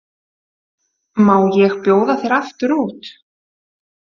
Má ég bjóða þér aftur út?